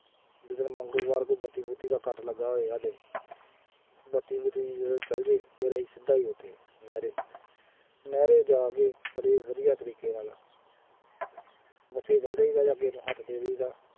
ਜਿਸ ਦਿਨ ਮੰਗਲਵਾਰ ਕੋਈ ਬੱਤੀ ਬੁੱਤੀ ਦਾ ਕੱਟ ਲੱਗਾ ਹੋਏਗਾ, ਬੱਤੀ ਬੁੱਤੀ ਜਦੋਂ ਚੱਲ ਜਾਏ ਫੇਰ ਅਸੀਂ ਸਿੱਧਾ ਹੀ ਉੱਥੇ ਨਹਿਰੇ, ਨਹਿਰੇ ਜਾ ਕੇ ਬੜੇ ਵਧੀਆ ਤਰੀਕੇ ਨਾਲ ਬੱਸੇ ਚੱਲ ਜਾਈਦਾ ਜਾ ਕੇ ਉਹਨੂੰ ਹੱਥ ਦੇ ਦੇਈਦਾ।